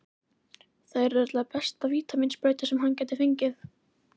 Það yrði örugglega besta vítamínsprauta sem hann gæti fengið.